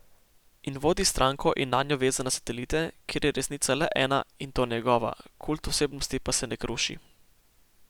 In vodi stranko in nanjo vezane satelite, kjer je resnica le ena, in to njegova, kult osebnosti pa se ne kruši.